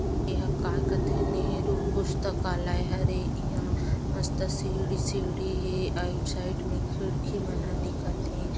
ये हा काय कथे नेहरू पुस्तकालय हरे इहां मस्त सीढ़ी सीढ़ी हे आइट साइड में खिड़की मन ह दिखत हे।